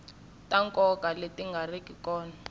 ta nkoka leti nga riki